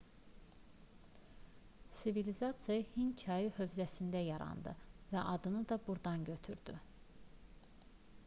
sivilizasiya hind çayı hövzəsində yarandı və adını da burdan götürdü